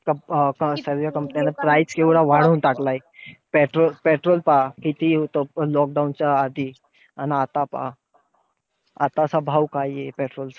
सर्व नं price केवढा वाढवून टाकलाय. petrol petrol पहा किती होतं lockdown च्या आधी आणि आता पहा. आताचा काय भाव आहे petrol चा.